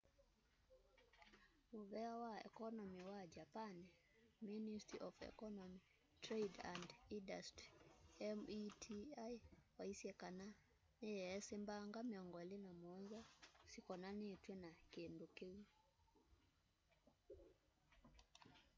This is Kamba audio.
muvea wa ekonomi wa japani ministry of economy trade and industry meti waisye kana niyeesi mbanga 27 syikonanitw'e na kindu kiu